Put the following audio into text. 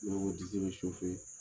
Ne ko ko disi bɛ